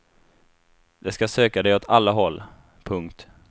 De skall söka dig åt alla håll. punkt